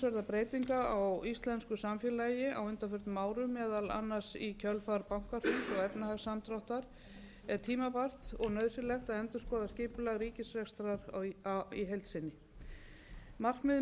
breytinga á íslensku samfélagi á undanförnum árum meðal annars í kjölfar bankahruns og efnahagssamdráttar er tímabært og nauðsynlegt að endurskoða skipulag ríkisrekstrar í heild sinni markmiðið